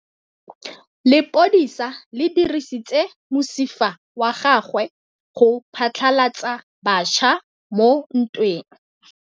Lepodisa le dirisitse mosifa wa gagwe go phatlalatsa batšha mo ntweng.